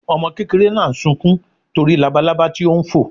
Ọmọ kékeré náà sunkún nítorí labalaba tí ó ń fò.